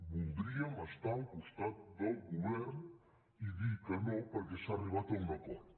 voldríem estar al costat del govern i dir que no perquè s’ha arribat a un acord